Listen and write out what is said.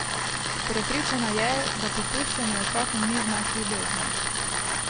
Prepričana je, da popuščanje otrokom ni znak ljubezni.